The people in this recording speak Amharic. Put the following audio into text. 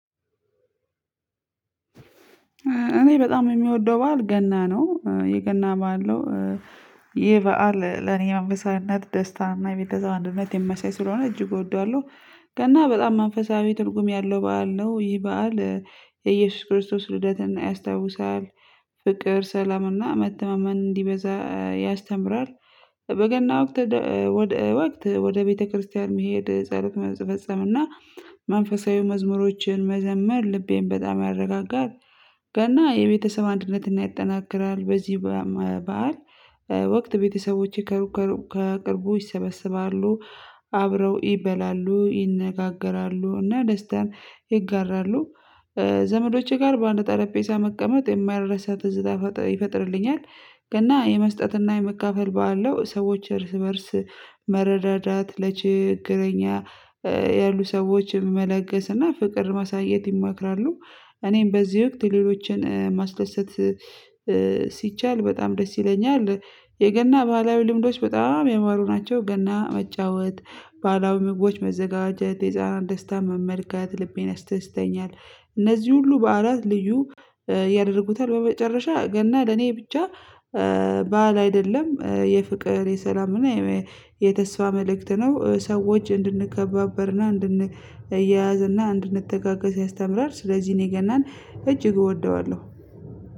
እኔ በጣም የሚወደው በዓል ገና ነው የገና በዓል ነው። ይህ በዓል ለእኔ መንፈሳዊነት ደስታ እና የቤተሰብ አንድነት የሚያሳይ ስለሆነ እጅግ እወደዋለሁ። ገና በጣም መንፈሳዊ ትርጉም ያለው በዓል ነው ይህ በዓል የኢየሱስ ክርስቶስ ልደትን ያስታውሳል ፍቅር ሰላምና መተማመን እንዲበዛ ያስተምራል። በገና ወቅት ወደ ወቅት ወደ ቤተክርስቲያን መሄድ ጸሎት መፈጸም እና መንፈሳዊ መዝሙሮችን መዘመር ልቤን በጣም ያረጋጋል። ገና የቤተሰብ አንድነትን ያጠናክራል በዚህ በዓል ወቅት ቤተሰቦቼ ከሩቅ ከቅርቡ ይሰበሰባሉ አብረው ይበላሉ ይነጋገራሉ እና ደስታን ይጋራሉ። ዘመዶቼ ጋር በአንድ ጠረጴዛ መቀመጥ የማይረሳ ትዝታ ይፈጥርልኛል። ገና የመስጠትና የመካፈል ባለው ሰዎች እርስ በእርስ መረዳዳት ለችግረኛ ያሉ ሰዎችን መለገስና ፍቅር ማሳየት ይመክራሉ። እኔም በዚህ ወቅት ሌሎችን ማስደሰት ሲቻል በጣም ደስ ይለኛል። የገና ባህላዊ ልምዶች በጣም ያማሩ ናቸው። ገና መጫወት ባህላዊ ምግቦች መዘጋጀት የህፃናት ደስታ መመልከት ልቤን ያስደስተኛል። እነዚህ ሁሉ በዓላት ልዩ ያደርጉታል። በመጨረሻ ገና ለኔ ብቻ በዓል አይደለም የፍቅር የሰላም እና የተስፋ መልእክት ነው። ሰዎች እንድንከባበርና እንድንያያዝ እና እንድንተጋገዝ ያስተምራል። ስለዚህ እኔ ገናን እጅግ እወደዋለሁ።